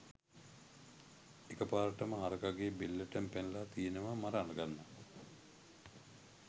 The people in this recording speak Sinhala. එකපාරටම හරකගේ බෙල්ලටම පැනලා තියෙනවා මරාගන්න.